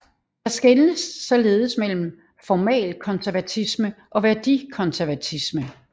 Der skelnes således mellem formalkonservatisme og værdikonservatisme